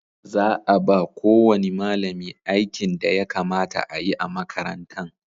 Za a ba ko wani malami aikin da ya kamata a yi a makarantan